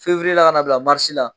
la ka bila la